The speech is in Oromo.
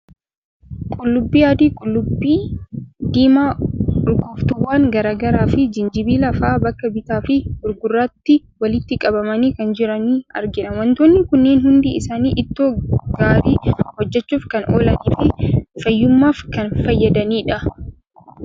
Qullubbii adii, qullubbii diimaa, urgooftuuwwan garaa garaa, fi jijinbila fa'a bakka bitaa fi gurgurtaatti walitti qabamanii kan jiran argina. Waantonni kunneen hundi isaanii ittoo gaarii hojjechuuf kan oolanii fi fayyummaaf kan fayyadanidha.